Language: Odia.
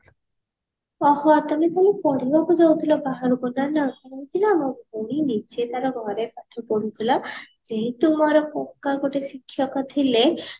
ଓହୋ ତମେ ତାହାଲେ ପଢିବାକୁ ଯାଉଥିଲ ବାହାରକୁ ନା ମୋ ଭଉଣୀ ନିଜେ ତାର ଘରେ ପାଠ ପଢୁଥିଲା ଯେହେତୁ ମୋର କକା ଗୋଟେ ଶିକ୍ଷକ ଥିଲେ